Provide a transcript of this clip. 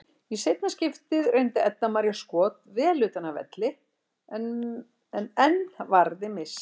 Í seinna skiptið reyndi Edda María skot vel utan af velli en enn varði Mist.